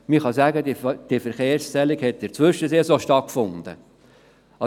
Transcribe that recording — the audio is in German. Man kann sagen, dass diese Verkehrszählung in der Zwischensaison stattgefunden hat.